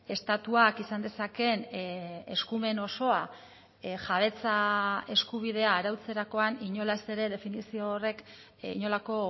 estatuak izan dezaken eskumen osoa jabetza eskubidea arautzerakoan inolaz ere definizio horrek inolako